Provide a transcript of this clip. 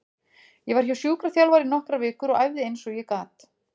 Ég var hjá sjúkraþjálfara í nokkrar vikur og æfði eins og ég gat.